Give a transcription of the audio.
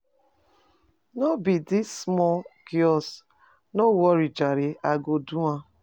No be dis small chore, no worry jare I go do am.